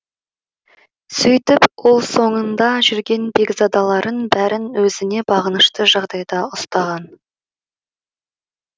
сөйтіп ол соңында жүрген бекзадаларын бәрін өзіне бағынышты жағдайда ұстаған